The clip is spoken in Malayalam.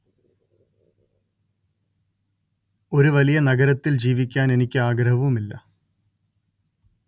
ഒരു വലിയ നഗരത്തിൽ ജീവിക്കാൻ എനിക്ക് ഒരാഗ്രഹവുമില്ല